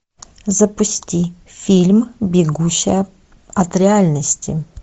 запусти фильм бегущая от реальности